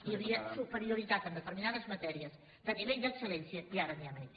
hi havia superioritat en determinades matèries de nivell d’excel·lència i ara n’hi ha menys